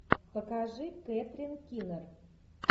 покажи кэтрин кинер